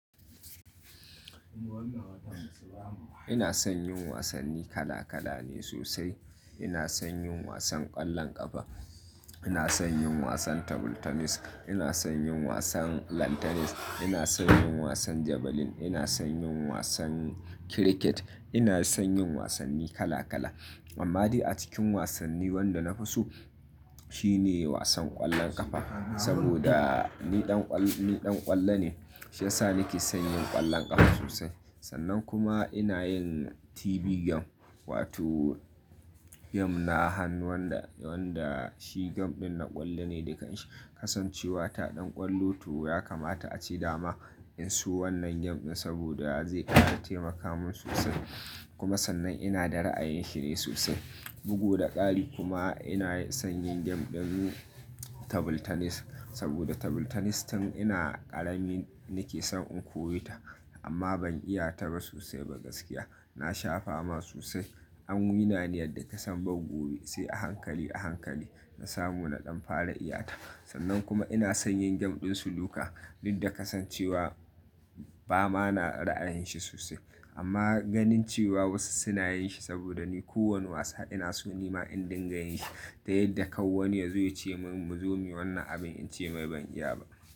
Ina son yin wasanni kala kala ne sosai. Ina son yin wasan ƙwallon ƙafa, ina son yin wasan table tennis, ina son yin wasan lawn tennis, ina son yin wasan javelin, ina son yin wasan cricket, ina son yin wasanni kala kala. Amma dai a cikin wasanni wanda na fi so shine wasan ƙwallon ƙafa. Saboda ni ɗan ƙwallo ne, shi ya sa nake son yin ƙwallon ƙafa sosai. Sannan kuma ina yin TV game, wato game na hanu wanda shi game ɗin na ƙwallo ne. Da ƙasan cewa ta ɗan ƙwallo tu ya kamata a ci dama in so wannan game ɗin saboda zai ƙara taimaka min sosai. Kuma sannan ina da ra'ayin shine sosai. Bugu da ƙari kuma ina son yin game ɗin table tennis saboda table tennis tun ina ƙarami nake son in koyi ta amma ban iya ta sosai ba gaskiya. Na sha fama sosai. An yi na ni yadda ka san ban gobe sai a hankali a hankali na samu na ɗan fara iya ta. Sannan kuma ina son yin game ɗin snooker ɗin da kasancewa ba ma na ra'ayin shi sosai. Amma ganin cewa wasu suna yin shi saboda ko wani wasa ina so nima in dinga yin shi. Da yadda kawu wani ya zo ya ce min mu zo muyi wannan abin in ce mai ban iya ba.